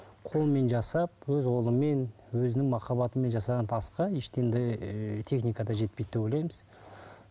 қолмен жасап өз қолымен өзінің махаббатымен жасаған асқа техника жетпейді деп ойлаймыз